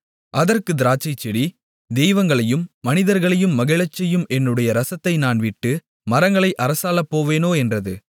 அதற்குத் திராட்சைச்செடி தெய்வங்களையும் மனிதர்களையும் மகிழச்செய்யும் என்னுடைய ரசத்தை நான் விட்டு மரங்களை அரசாளப்போவேனோ என்றது